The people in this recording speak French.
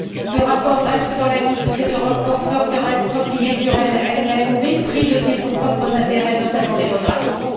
Ce rapport reste dans la ligne de cette Europe forteresse repliée sur elle même, au mépris de ses propres intérêts, notamment démographiques.